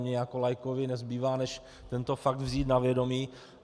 Mně jako laikovi nezbývá, než tento fakt vzít na vědomí.